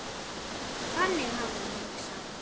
Þannig hafði hann hugsað.